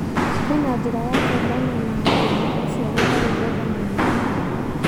Kwĩna njĩra ya kũhũrana na thĩna ũcio gũtarĩ kwenda mwena ũmwe?